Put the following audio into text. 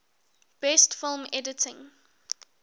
best film editing